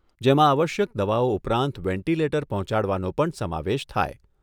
જેમાં આવશ્યક દવાઓ ઉપરાંત વેન્ટિલેટર પહોંચાડવાનો પણ સમાવેશ થાય